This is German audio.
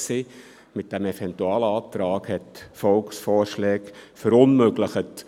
Mit dem Eventualantrag wurden Volksvorschläge verunmöglicht.